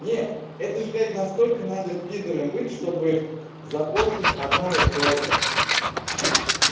нет это же блядь насколько надо пидором быть чтобы запостить одно и тоже